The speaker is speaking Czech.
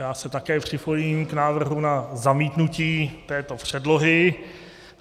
Já se také připojím k návrhu na zamítnutí této předlohy.